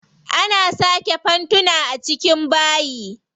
Ana saka fanfuna a cikin bayi.